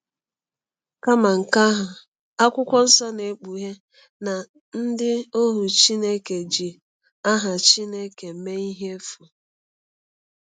Kama nke ahụ, Akwụkwọ Nsọ na-ekpughe na ndị ohu Chineke ji aha Chineke mee ihe n'efu.